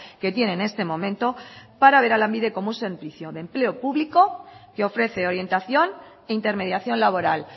que tiene en este momento para ver a lanbide como un servicio de empleo público que ofrece orientación e intermediación laboral